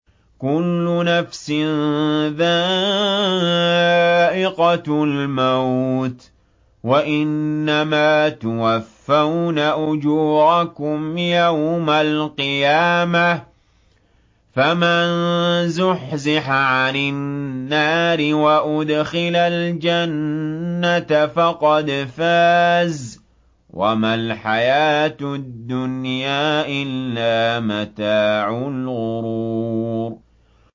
كُلُّ نَفْسٍ ذَائِقَةُ الْمَوْتِ ۗ وَإِنَّمَا تُوَفَّوْنَ أُجُورَكُمْ يَوْمَ الْقِيَامَةِ ۖ فَمَن زُحْزِحَ عَنِ النَّارِ وَأُدْخِلَ الْجَنَّةَ فَقَدْ فَازَ ۗ وَمَا الْحَيَاةُ الدُّنْيَا إِلَّا مَتَاعُ الْغُرُورِ